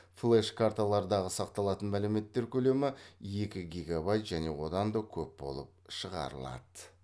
флеш карталардағы сақталатын мәліметтер көлемі екі гигобайт және одан да көп болып шығарылады